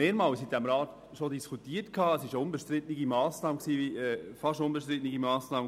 Wir diskutierten diese Massnahme im Rat schon mehrmals.